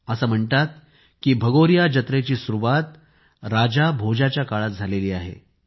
असे म्हणतात की भगोरिया जत्रेची सुरुवात राजा भोजयाच्या काळात झाली आहे